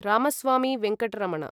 Ramaswamy Venkataramana